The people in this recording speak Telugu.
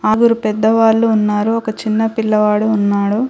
ఆగురు పెద్దవాళ్ళు ఉన్నారు ఒక చిన్న పిల్లవాడు ఉన్నాడు .